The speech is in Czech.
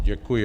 Děkuji.